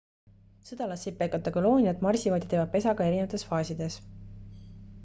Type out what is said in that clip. sõdalassipelgate kolooniad marsivad ja teevad pesa ka erinevates faasides